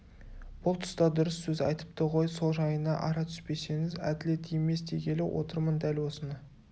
бұл тұста дұрыс сөз айтыпты ғой сол жайына ара түспесеңіз әділет емес дегелі отырмын дәл осыны